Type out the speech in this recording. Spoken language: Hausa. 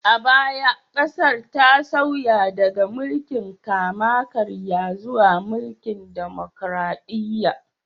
A baya, ƙasar ta sauya daga mulkin kama-karya zuwa mulkin demokraɗiyya